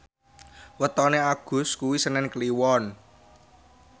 wetone Agus kuwi senen Kliwon